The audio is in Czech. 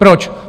Proč?